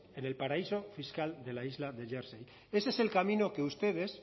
en el paraíso fiscal de la isla de jersey ese es el camino que ustedes